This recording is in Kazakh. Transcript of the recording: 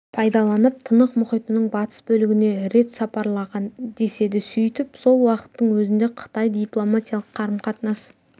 пайдаланып тынық мұхитының батыс бөлігіне рет сапарлаған деседі сөйтіп сол уақыттың өзінде қытай дипломатиялық қарым-қатынас